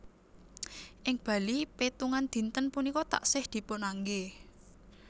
Ing Bali pétungan dinten punika taksih dipun anggé